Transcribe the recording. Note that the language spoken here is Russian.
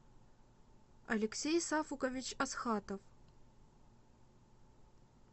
алексей сафукович асхатов